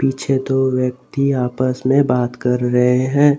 पीछे दो व्यक्ति आपस में बात कर रहे हैं।